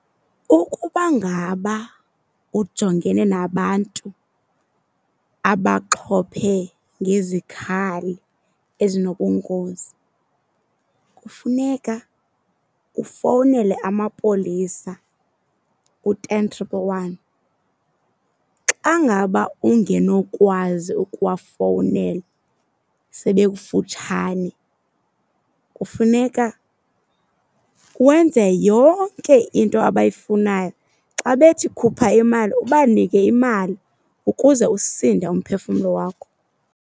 Ukuba ngaba ujongene nabantu abaxhophe ngezikhali ezinobungozi kufuneka ufowunele amapolisa u-ten triple one. Xa ngaba ungenokwazi ukuwafowunela sebekufutshane kufuneka wenze yonke into abayifunayo. Xa bethi khupha imali ubanike imali ukuze usinde umphefumlo wakho.